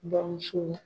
Bamuso